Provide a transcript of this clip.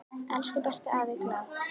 Elsku besti afi Glað.